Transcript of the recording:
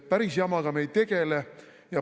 Päris jamaga me ei tegele.